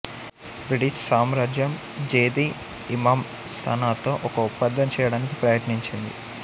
British సామ్రాజ్యం జేదీ ఇమామ్ సనాతో ఒక ఒప్పందం చేయడానికి ప్రయత్నించింది